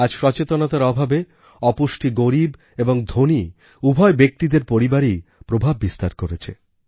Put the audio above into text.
আজ সচেতনতার অভাবে অপুষ্টি গরীব এবং ধনী উভয় ব্যক্তিদের পরিবারেই প্রভাব বিস্তার করেছে